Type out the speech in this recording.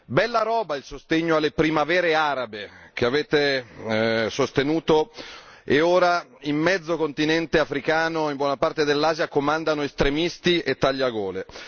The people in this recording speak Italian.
Bella roba il sostegno alle primavere arabe, che avete sostenuto e ora in mezzo continente africano e in buona parte dell'Asia comandano estremisti e tagliagole.